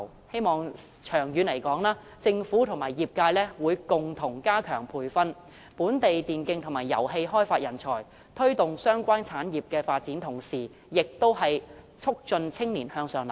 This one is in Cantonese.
希望長遠而言，政府和業界會共同加強培訓本地電競及遊戲開發人才，在推動相關產業發展的同時，亦有助促進青年向上流動。